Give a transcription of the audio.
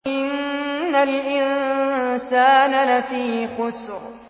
إِنَّ الْإِنسَانَ لَفِي خُسْرٍ